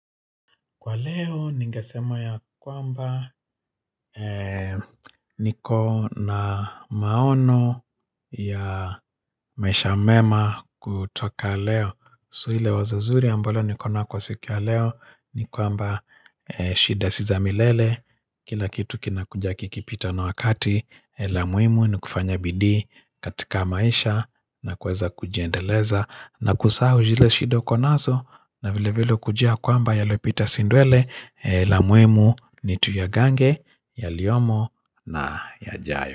Kwa leo ningasema ya kwamba niko na maono ya maisha mema kutoka leo So iile wazo zuri ambole niko nao kwa siku ya leo ni kwamba shida si za milele Kila kitu kinakuja kikipita na wakati la muhimu ni kufanya bidii katika maisha na kuweza kujiendeleza na kusahau zile shida uko nazo na vile vile kujua kwamba yaliopita si ndwele la muhimu ni tuyagange yaliyomo na yajayo.